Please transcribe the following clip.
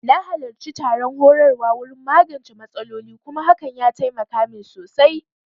Na halarci taron horarwa wurin magance matsaloli kuma hakan ya taimaka min sosai